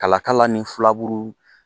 Kala kala ni filaburu